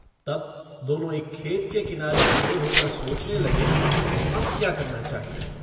तब दोनों एक खेत के किनारे खड़े होकर सोचने लगे अब क्या करना चाहिए।